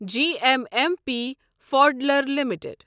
G M M P Foodler limited